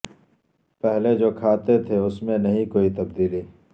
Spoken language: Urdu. پہلے جو کھاتے تھے اس میں نہیں کوئی تبدیلی